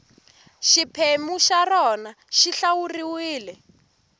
xiphemu xa rona xi hlawuriwile